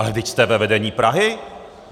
Ale vždyť jste ve vedení Prahy.